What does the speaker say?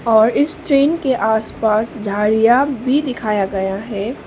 और इस ट्रेन के आसपास झाड़ियां भी दिखाया गया है।